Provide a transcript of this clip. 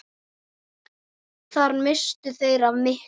Þar misstu þeir af miklu.